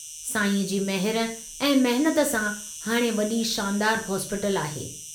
साईंअ जी महर ऐं महिनत सां हाणे वड़ी शानदार हॉस्पीटल आहे।